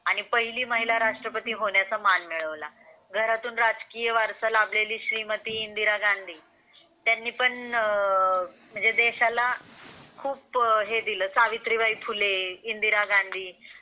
आणि पहिली महिला राष्ट्रपती होण्याचा मान मिळवला. घरातून राजकीय वारसा लाभलेली श्रीमती इंदिरा गांधी त्यांनी पण देशाला खूप हे दिल. सावित्रीबाई फुले, इंदिरा गांधी,